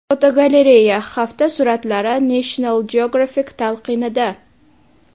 Fotogalereya: Hafta suratlari National Geographic talqinida.